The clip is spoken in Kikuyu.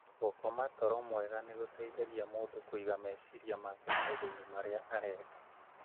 Gũkoma toro mwega nĩ gũteithagia mũndũ kũiga meciria make maũndũ-inĩ marĩa areka.